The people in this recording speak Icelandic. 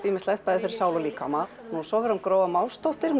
ýmislegt bæði fyrir sál og líkama svo verður Gróa Másdóttir